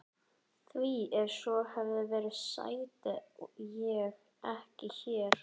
Því ef svo hefði verið sæti ég ekki hér.